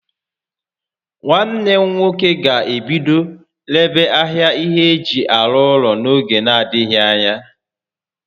Nwanne m nwoke ga-ebido rebe ahịa ihé eji arụ ụlọ n'oge n'adịghị ányá